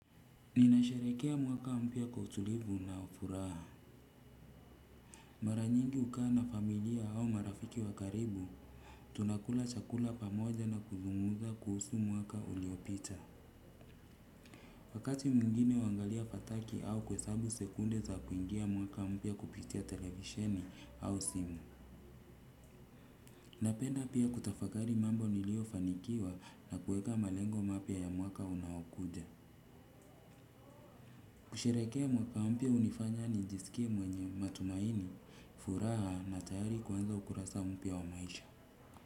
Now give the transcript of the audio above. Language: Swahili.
Ninasharekea mwaka ampia kwa utulivu na ufuraha. Mara nyingi hukaa familia au marafiki wakaribu, tunakula chakula pamoja na kuzunguza kuhusu mwaka uliopita. Wakati mwingine huangalia fataki au kuesabu sekunde za kuingia mwaka mpya kupitia televisheni au simu. Napenda pia kutafakari mambo nilio fanikiwa na kueka malengo mapya ya mwaka unao kuja. Kusherehekea mwaka mpya hunifanya nijiskie mwenye matumaini, furaha na tayari kuanza ukurasa mpya wa maisha.